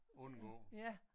Undgå